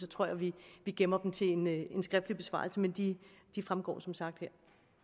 tror at vi gemmer dem til en en skriftlig besvarelse men de fremgår som sagt her